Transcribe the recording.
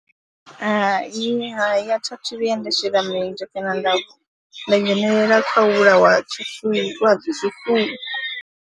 Hai, hai, a tha thu vhuya nda shela milenzhe kana nda nda dzhenelela kha u vhulawa ha tshifuwiwa ha zwifuwo.